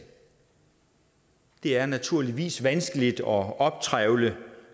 det er naturligvis vanskeligt at optrævle